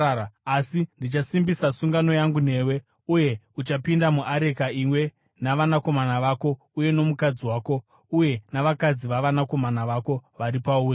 Asi ndichasimbisa sungano yangu newe, uye uchapinda muareka, iwe navanakomana vako uye nomukadzi wako uye navakadzi vavanakomana vako vari pauri.